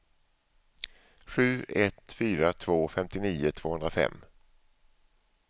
sju ett fyra två femtionio tvåhundrafem